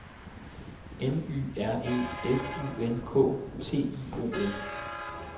N Y R E F U N K T I O N